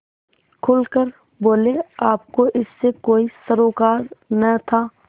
खुल कर बोलेआपको इससे कोई सरोकार न था